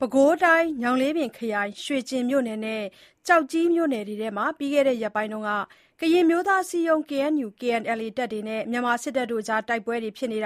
ပဲခူးတိုင်း ညောင်လေးပင်ခရိုင်၊ ရွှေကျင်မြို့နယ်နဲ့ ကျောက်ကြီးမြို့နယ်ထဲမှာ ပြီးခဲ့တဲ့ ရက်ပိုင်း ကရင်အမျိုးသားအစည်းအရုံး KNU/KNLA နဲ့ မြန်မာစစ်တပ်ရဲ့ တိုက်ပွဲတွေ၊ မြ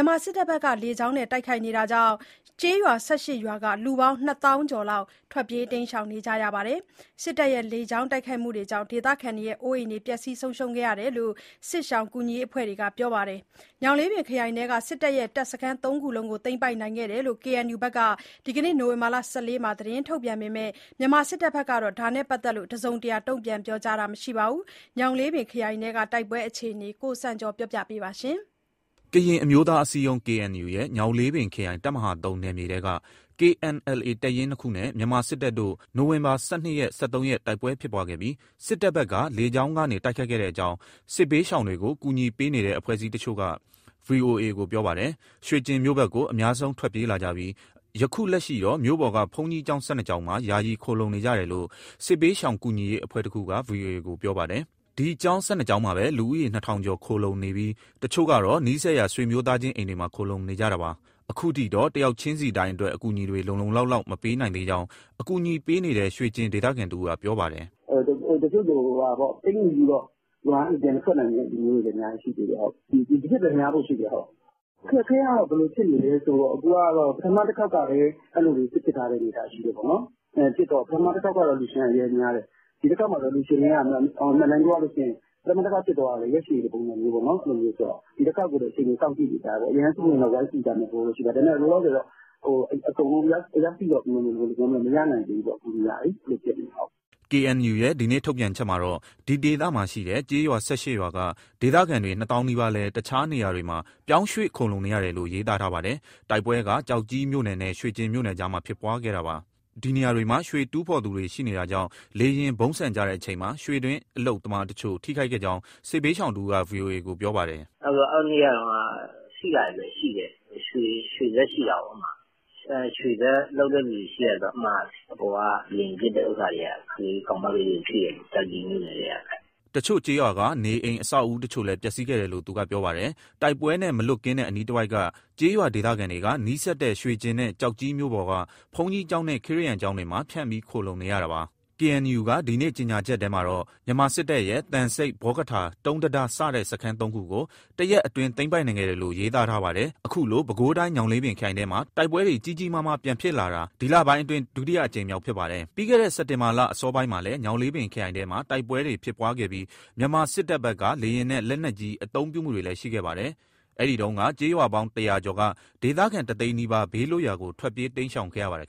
န်မာစစ်တပ်ဘက် လေကြောင်းတိုက်ခိုက်မှုတွေကြောင့် ကျေးရွာ ၁၈ ရွာက လူပေါင်း ၂၀,၀၀၀ ကျော်လောက် ထွက်ပြေးတိမ်းရှောင် နေရပါတယ်။ စစ်တပ်ရဲ့ လေကြောင်းတိုက်ခိုက်မှုကြောင့် ဒေသခံတွေရဲ့ အိုးအိမ်ပျက်စီးဆုံးရှုံးခဲ့တယ်လို့ စစ်ရှောင်ကူညီရေး အဖွဲ့တွေက ပြောပါတယ်။ ညောင်လေးပင်ခရိုင်ထဲက စစ်တပ်ရဲ့ တပ်စခန်း ၃ ခုလုံးကို သိမ်းပိုက်ခဲ့တယ်လို့ KNU ဘက်က ဒီနေ့ နိုဝင်ဘာ ၁၄ ရက်မှာ သတင်းထုတ်ပြန်ထားပေမဲ့ မြန်မာစစ်တပ်ဘက်ကတော့ ဒါနဲ့ ပတ်သက်ပြီး တစုံတရာ တုံ့ပြန်ပြောကြားတာ မရှိသေးပါဘူး။ ညောင်လေးပင် ခရိုင်ထဲ တိုက်ပွဲ ဆက်ဖြစ်ပွားနေတဲ့အခြေအနေ သတင်းပေးပို့ချက်ကို ကိုစံကျော်က တင်ပြပေးထားပါတယ်။ ကရင်အမျိုးသား အစည်းအရုံး KNU ရဲ့ ညောင်လေးပင်ခရိုင် တပ်မဟာ(၃) နယ်မြေထဲက KNLA တပ်ရင်း ၂ ခုနဲ့ မြန်မာစစ်တပ်တို့ နိုဝင်ဘာ ၁၂ ရက်၊ ၁၃ ရက်မှာ တိုက်ပွဲဖြစ်ပွားခဲ့ပြီး စစ်တပ်ဘက်က လေကြောင်းကနေ တိုက်ခိုက်ခဲ့တဲ့အကြောင်း စစ်ဘေးရှောင်တွေကို အကူညီပေးနေတဲ့ အဖွဲ့အစည်းတချို့က ဗွီအိုအေကို ပြောပါတယ်။ ရွှေကျင်မြို့ဘက်ကို အများဆုံး ထွက်ပြေးလာကြပြီး ယခုလက်ရှိတော့ မြို့ပေါ်က ဘုန်းကြီးကျောင်း ၁၂ ကျောင်းမှာ ယာယီခိုလှုံနေကြတယ်လို့ စစ်ဘေးရှောင်ကူညီရေး အဖွဲ့တခုက ဗွီအိုအေကို ပြောပါတယ်။ ဒီကျောင်း ၁၂ ကျောင်းမှာပဲ လူဦးရေ ၂,၀၀၀ ကျော် ခိုလှုံနေပြီး တချို့ကတော့ နီးစပ်ရာ ဆွေမျိုးသားချင်း အိမ်တွေမှာ ခိုလှုံနေကြတာပါ။ အခုထိတော့ တယောက်ချင်းစီတိုင်းအတွက် အကူအညီတွေ လုံလုံလောက်လောက် မပေးနိုင်သေးကြောင်း အကူအညီပေးနေတဲ့ ရွှေကျင်ဒေသခံတဦးက ပြောပါတယ်။ "တချို့ဆို ပိတ်မိနေပြီး ရွာကနေပြန်မထွက်နိုင်တဲ့ လူမျိုးတွေလည်း အများကြီးရှိတယ်။ ဒီထက်ပဲ များဖို့ရှိတယ်။ အခက်အခဲကတော့ ဘယ်လိုဖြစ်နေလဲဆိုတော့ ပထမတခေါက်ကလည်း အဲလိုတွေ ဖြစ်ထားတော့ ပထမက အလှူရှင်က အရမ်းများတယ်။ ဒီတခေါက်မှာတော့ အမှန်အတိုင်းပြောရရင် ပထမတခေါက်တုန်းက ရက်ရှည်ပုံစံဆိုတော့ ဒီတခေါက်ကို အခြေအနေ စောင့်ကြည့်နေကြတယ်။ အရမ်းဆိုးရင်တော့ ဝိုင်းကူကြမယ့်သဘောတော့ ရှိတယ်။ လောလောဆယ်တော့ အကုန်လုံး အယောက်စေ့တော့ မရနိုင်သေးဘူး အကူအညီကလေ။" KNU ရဲ့ ဒီနေ့ထုတ်ပြန်ချက်မှာတော့ ဒီဒေသမှာရှိတဲ့ ကျေးရွာ ၁၈ ရွာက ဒေသခံတွေ ၂ သောင်းနီးပါးလည်း တခြားနေရာတွေမှာ ပြောင်းရွှေ့ခိုလှုံနေရတယ်လို့ ရေးသား ထားပါတယ်။ တိုက်ပွဲက ကျောက်ကြီးမြို့နယ်နဲ့ ရွှေကျင်မြို့နယ်ကြားမှာ ဖြစ်ပွားခဲ့တာပါ။ ဒီနေရာတွေမှာ ရွှေတူးဖော်တဲ့သူတွေ ရှိနေတာကြောင့် လေယာဉ် ဗုံးဆံကျတဲ့အချိန်မှာ ရွှေတွင်းအလုပ်သမားတချို့ ထိခိုက်ခဲ့ကြောင်း စစ်ရှောင်တဦးက ဗွီအိုအေကို ပြောပါတယ်။ "အဲဒီနေ့က ထိတာတွေလည်းရှိတယ်။ ရွှေစက်ရှိတာကိုး အဲဒီမှာ၊ ရွှေစက်လုပ်တဲ့သူတွေ ရှိတယ်ဆိုတော့ အဲဒီမှာ အပေါ်က လေယာဉ်ပစ်တဲ့ ဥစ္စာတွေက ကောင်မလေးတွေကို ထိတယ်။ ကျောက်ကြီး မြို့နယ်ထဲကပဲ။" တချို့ကျေးရွာက နေအိမ်၊ အဆောက်အဦတချို့လည်း ပျက်စီးခဲ့တယ်လို့ သူကပြောပါတယ်။ တိုက်ပွဲနဲ့ မလွတ်ကင်းတဲ့ အနီးတဝိုက်က ကျေးရွာဒေသခံတွေက နီးစပ်တဲ့ ရွှေကျင်နဲ့ ကျောက်ကြီး မြို့ပေါ်က ဘုန်းကြီးကျောင်းနဲ့ ခရစ်ယာန်ဘုရားကျောင်းတွေမှာ ဖြန့်ပြီး ခိုလှုံနေရတာပါ။ KNU က ဒီနေ့ကြေညာချက်ထဲမှာတော့ မြန်မာစစ်တပ်ရဲ့ သံဆိပ်၊ ဘောကထာ၊ တုံးတံတား စတဲ့ စခန်းသုံးခုကို တရက်အတွင်း သိမ်းပိုက်နိုင်ခဲ့တယ်လို့ ရေးသားထားပါတယ်။ အခုလို ပဲခူးတိုင်း ညောင်လေးပင်ခရိုင်ထဲမှာ တိုက်ပွဲတွေ ကြီးကြီးမားမား ပြန်ဖြစ်လာတာ ဒီလပိုင်းအတွင်း ဒုတိယအကြိမ်မြောက် ဖြစ်ပါတယ်။ ပြီးခဲ့တဲ့ စက်တင်ဘာလ အစောပိုင်းမှာလည်း ညောင်လေးပင်ခရိုင်ထဲမှာ တိုက်ပွဲတွေ ဖြစ်ပွားခဲ့ပြီး မြန်မာစစ်တပ်ဘက်က လေယာဉ်နဲ့ လက်နက်ကြီး အသုံးပြုမှုတွေလည်း ရှိခဲ့ပါတယ်။ အဲဒီတုန်းက ကျေးရွာပေါင်း ၁၀၀ ကျော်က ဒေသခံတသိန်းနီးပါး ဘေးလွတ်ရာကို ထွက်ပြေးတိမ်းရှောင် ခဲ့ရပါတယ်